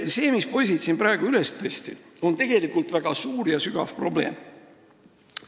See, mis poisid siin praegu üles tõstsid, on tegelikult väga suur ja sügav probleem.